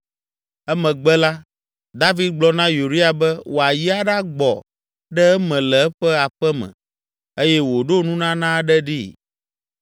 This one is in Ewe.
Emegbe la, David gblɔ na Uria be wòayi aɖagbɔ ɖe eme le eƒe aƒe me eye wòɖo nunana aɖe ɖee.